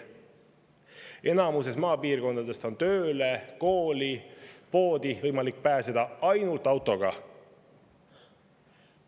Enamikus maapiirkondades on tööle, kooli ja poodi võimalik pääseda ainult autoga.